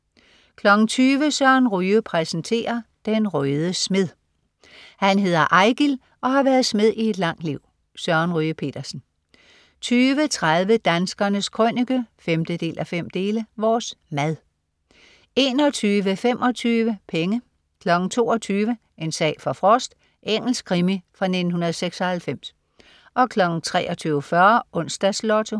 20.00 Søren Ryge præsenterer. Den røde smed. Han hedder Eigil og har været smed i et langt liv. Søren Ryge Petersen 20.30 Danskernes Krønike 5:5. Vores mad 21.25 Penge 22.00 En sag for Frost. Engelsk krimi fra 1996 23.40 Onsdags Lotto